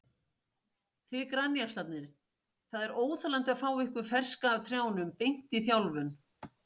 Þið grænjaxlarnir, það er óþolandi að fá ykkur ferska af trjánum, beint í þjálfun.